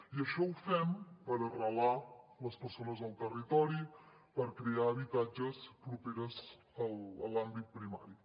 i això ho fem per arrelar les persones al territori per crear habitatges propers en l’àmbit primari